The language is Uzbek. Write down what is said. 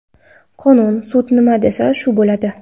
Qonun, sud nima desa shu bo‘ladi.